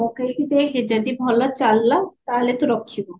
ପକେଇକି ଦେଖେ ଯଦି ଭଲ ଚାଲିଲା ତାହେଲେ ତୁ ରଖିବୁ